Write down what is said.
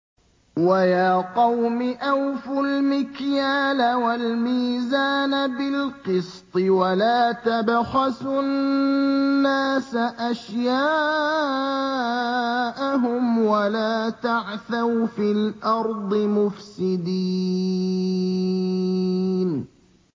وَيَا قَوْمِ أَوْفُوا الْمِكْيَالَ وَالْمِيزَانَ بِالْقِسْطِ ۖ وَلَا تَبْخَسُوا النَّاسَ أَشْيَاءَهُمْ وَلَا تَعْثَوْا فِي الْأَرْضِ مُفْسِدِينَ